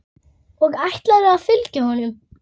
Og ætlarðu að fylgja honum?